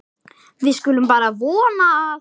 Svo mikið hefur salan aukist.